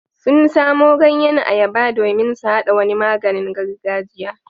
Sun samo ganyen ayaba domin su haɗa wani maganin gargajiya.